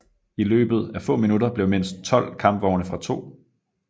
I løbet af få minutter blev mindst 12 kampvogne fra 2